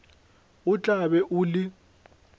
o tla be o le